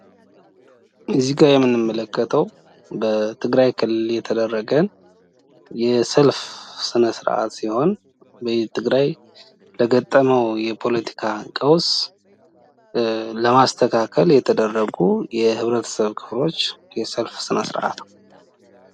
እዚህጋ የምንመለከተው በትግራይ ክልል የተደረገ የሰልፍ ስነስርዓት ሲሆን በትግራይ ለገጠመው የፖለቲካ ቀውስ ለማስተካከል የተደረጉ የህብረተሰብ ክፍሎች የሰልፍ ስነስርአት ነው።